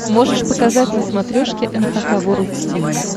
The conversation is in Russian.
можешь показать на смотрешке эн эйч кей волд ти ви